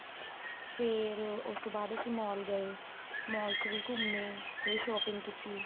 ਫੇਰ ਉਸ ਤੋਂ ਬਾਅਦ ਅਸੀਂ mall ਗਏ mall ਚ ਵੀ ਘੁੰਮੇ ਤੇ shopping ਕੀਤੀ